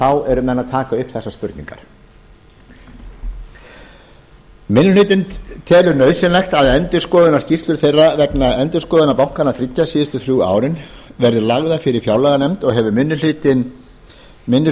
eru menn að taka upp þessar spurningar minni hlutinn telur nauðsynlegt að endurskoðunarskýrslur þeirra vegna endurskoðunar bankanna þriggja síðustu þrjú árin verði lagðar fyrir fjárlaganefnd og hefur minni